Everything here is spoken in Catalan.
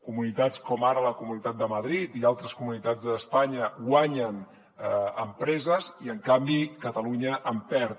comunitats com ara la comunitat de madrid i altres comunitats d’espanya guanyen empreses i en canvi catalunya en perd